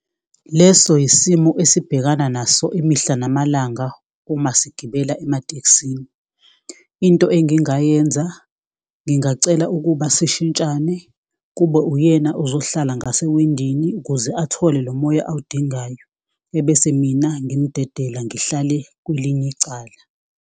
Leso isimo esibhekana naso imihla namalanga uma sigibela ematekisini. Into engingayenza ngingacela ukuba sishintshane kube uyena ozohlala ngasewindini, ukuze athole lo moya awudingayo. Ebese mina ngimdedela ngihlale kwelinye icala.